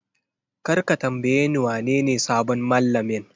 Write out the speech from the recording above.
Kar ka tambayeni wanene sabon mallamin!